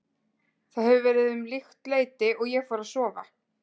Það hefur verið um líkt leyti og ég fór að sofa.